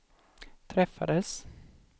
träffades